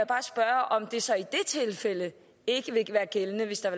bare spørge om det så i det tilfælde ikke vil være gældende hvis der